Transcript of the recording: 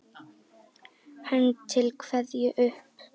Hönd til kveðju upp!